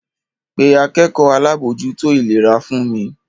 Pe akẹ́kọ̀ọ́ alábòójútó ìlera fún mi!